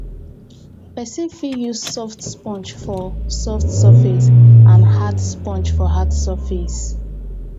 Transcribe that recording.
person fit use soft sponge for soft surface and hard brush for hard surface